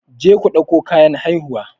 Je ku ɗauko kayan haihuwa!